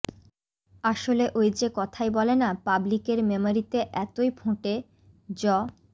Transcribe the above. আসলে ওই যে কথায় বলে না পাবলিকের মেমরিতে এতই ফোঁটে য